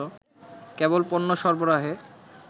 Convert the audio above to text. কেবল পণ্য সরবরাহে